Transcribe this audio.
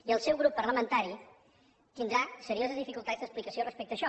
i el seu grup parlamentari tindrà serioses dificultats d’explicació respecte a això